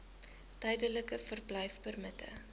tydelike verblyfpermitte